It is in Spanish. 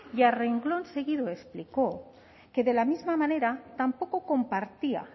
y a renglón seguido explicó que de la misma manera tampoco compartía